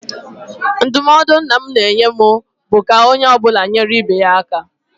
Ndụmọdụ nna m na-enye anyị bụ ka onye ọ bụla na-enyere ibe ya aka.